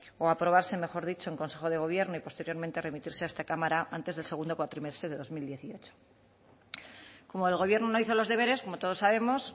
o aprobarse mejor dicho en consejo de gobierno y posteriormente remitirse a esta cámara antes del segundo cuatrimestre de dos mil dieciocho como el gobierno no hizo los deberes como todos sabemos